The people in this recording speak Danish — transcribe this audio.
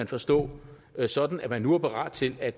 forstå sådan at man nu er parat til at